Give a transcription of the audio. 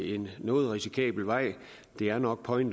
en noget risikabel vej det er nok point